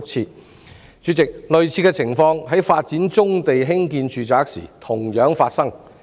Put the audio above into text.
代理主席，類似的情況在發展棕地興建住宅時亦同樣發生。